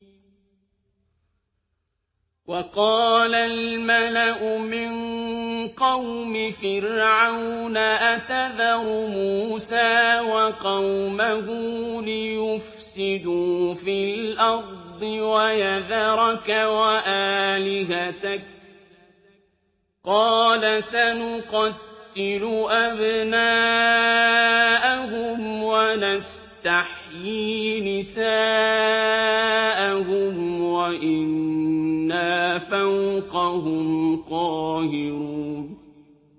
وَقَالَ الْمَلَأُ مِن قَوْمِ فِرْعَوْنَ أَتَذَرُ مُوسَىٰ وَقَوْمَهُ لِيُفْسِدُوا فِي الْأَرْضِ وَيَذَرَكَ وَآلِهَتَكَ ۚ قَالَ سَنُقَتِّلُ أَبْنَاءَهُمْ وَنَسْتَحْيِي نِسَاءَهُمْ وَإِنَّا فَوْقَهُمْ قَاهِرُونَ